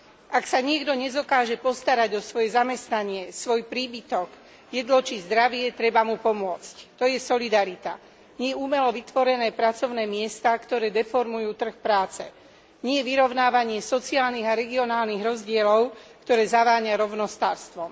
Ak sa niekto nedokáže postarať o svoje zamestnanie, svoj príbytok, jedlo či zdravie, treba mu pomôcť, to je solidarita. Nie umelo vytvorené pracovné miesta, ktoré deformujú trh práce, nie vyrovnávanie sociálnych a regionálnych rozdielov, ktoré zaváňa rovnostárstvom.